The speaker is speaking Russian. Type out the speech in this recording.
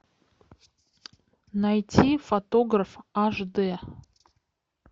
найти фотограф аш д